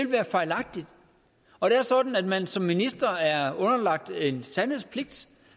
være fejlagtigt og det er sådan at man som minister er underlagt en sandhedspligt